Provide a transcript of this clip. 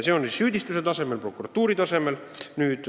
Pean praegu silmas prokuratuuri taset.